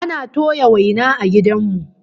Ana toya waina a gidan mu